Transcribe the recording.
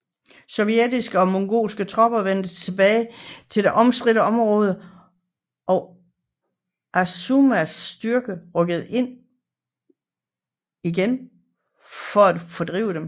Sovjetiske og mongolske tropper vendte tilbage til det omstridte område og Azumas styrje rykkede igen ud for at fordrive dem